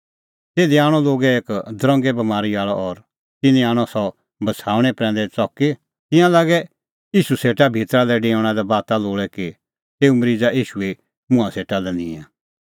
तिधी आणअ लोगै एक दरंगे बमारी आल़अ और तिन्नैं आणअ सह बछ़ाऊणैं प्रैंदै च़की तिंयां लागै ईशू सेटा भितरा लै डेऊणा लै बाता लोल़ै कि तेऊ मरीज़ा ईशूए मुंहां सेटा निंए